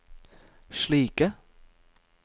slike